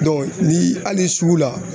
ni hali sugu la